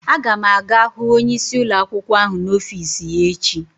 Aga m aga hu onyeisi ụlọakwụkwọ ahụ n'ọfis ya echi.